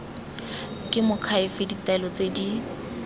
ke moakhaefe ditaelo tse di